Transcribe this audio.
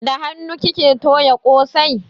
Da hanu kike toya kosai?